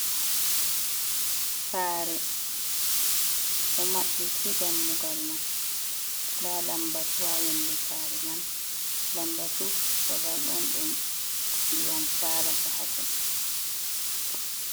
Saare ɗo maɓɓiti dammugal man, nda lammbatu haa yonnde saare man. Lammbatu babal on ɗum ndiyam saalata haa ton.